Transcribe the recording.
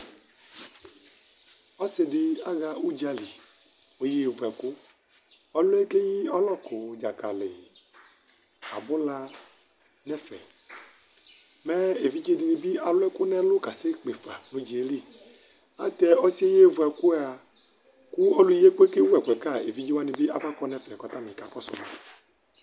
Ɔsɩ dɩ aɣa udzǝli kʋ oyevu ɛkʋ Ɔlʋ yɛ keyi ɔlɔkʋ, dzakali nʋ abula nʋ ɛfɛ Mɛ evidze dɩnɩ bɩ alʋ ɛkʋ nʋ ɛlʋ kasekpe fa nʋ ʋdza yɛ li Ayɛlʋtɛ ɔsɩyɛ oyevu ɛkʋ yɛa, kʋ ɔlʋyɩɛkʋ yɛ kɛwʋ ɛkʋ yɛ ka, evidze wani bɩ abakɔ kʋ aka kɔsʋ ma